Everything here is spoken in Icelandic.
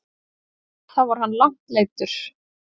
Þá var hann langt leiddur.